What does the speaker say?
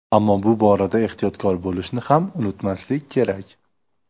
Ammo bu borada ehtiyotkor bo‘lishni ham unutmaslik kerak.